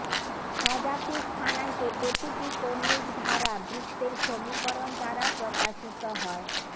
সজাতিক স্থানাঙ্কে প্রতিটি কৌণিক ধারা বৃত্তের সমীকরণ দ্বারা প্রকাশিত হয়ঃ